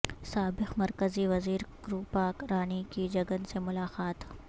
سابق مرکزی وزیر کروپا رانی کی جگن سے ملاقات